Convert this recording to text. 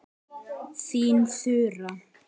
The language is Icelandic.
Þín Þura.